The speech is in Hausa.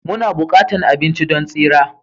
Muna buƙatar abinci don tsira